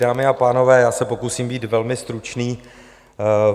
Dámy a pánové, já se pokusím být velmi stručný.